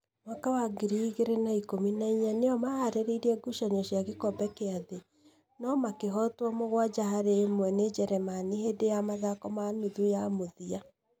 mwaka wa ngiri igĩrĩ na ikũmi na inya nĩo maharĩire gucanio cia gĩkombe kĩa thĩ, no makĩhootwo mũgwanja harĩ ĩmwe nĩ Njĩrĩmani hĩndĩ ya mathako ma nuthu ya mũthia.